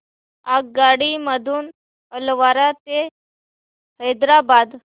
आगगाडी मधून अलवार ते हैदराबाद